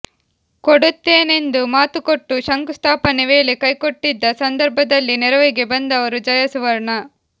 ಕೊಡುತ್ತೇನೆಂದು ಮಾತುಕೊಟ್ಟು ಶಂಕುಸ್ಥಾಪನೆ ವೇಳೆ ಕೈಕೊಟ್ಟಿದ್ದ ಸಂದರ್ಭದಲ್ಲಿ ನೆರವಿಗೆ ಬಂದವರು ಜಯ ಸುವರ್ಣ